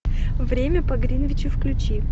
время по гринвичу включи